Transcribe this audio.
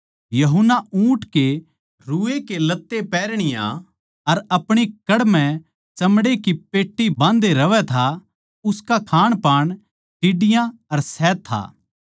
यूहन्ना जो था ऊँट के रुए के लत्ते पहरणीया अर अपणी कड़ म्ह चमड़ै की पेट्टीबाँधे रहवै था उसका खाणपान टिड्डियाँ अर शहद था